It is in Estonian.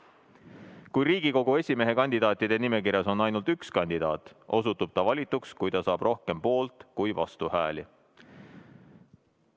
Kui Riigikogu esimehe kandidaatide nimekirjas on ainult üks kandidaat, osutub ta valituks, kui ta saab rohkem poolt- kui vastuhääli.